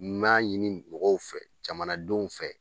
N m'a ɲini mɔgɔw fɛ jamanadenw fɛ.